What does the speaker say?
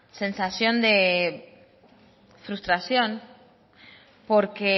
sensación de frustración porque